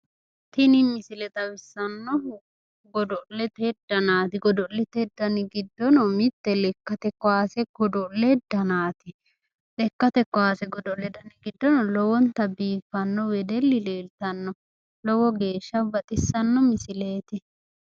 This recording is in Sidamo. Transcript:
tini misile xawissannohu gido'lete danaati godo'lete giddono mitte lekkate kowaase godo'le danaati lekkate kaase godo'le dani giddono lowonta biiffanno wedelli leeltanno lowo geeshsha baxissanno misileeti.